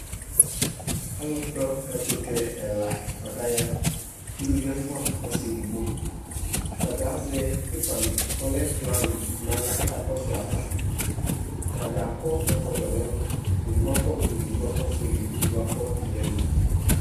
Alʋkpɔ ɛkʋtɛ ɛla boa kʋ aya Uluvi ɛfua, ɔsi edigbo Atadza azɛ pipa kʋ ɔlɛ plani kʋ akakɔsʋ ayava Atadza akɔ ɛkɔtɔ nɛlʋ Edigbo akɔ blu, edidgo akɔ ɔfuele, edigbo akɔ yɛlo